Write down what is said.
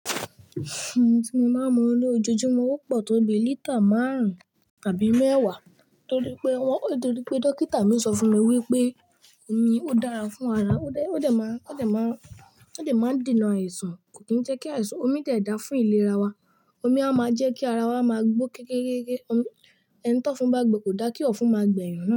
Omi tí mo máa ń mu ní ojoojúmọ́ ó pọ̀ tó bi lítà márùn-ún tàbí mẹ́wàá torí pé wọ́n-- torí pé dókítà mi sọ fún mi wípé omi ó dára fún ara, ó dé-- ó dé máa ń-- ó dé máa ń-- ó dé máa ń dènà àìsàn, kò kí ń jẹ́ kí àìsàn. Omi de da fún ìlera wa. Omi a máa jẹ́ kí ara wa máa gbó kékeré. Ohun-- ẹni tó ń fún bá gbè kò da kí ọ̀fun máa gbẹ̀yìn.